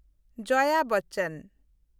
ᱡᱚᱭᱟ ᱵᱚᱪᱪᱚᱱ